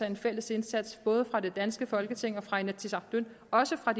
en fælles indsats både fra det danske folketing og fra inatsisartut og også fra